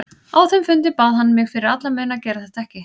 Á þeim fundi bað hann mig fyrir alla muni að gera þetta ekki.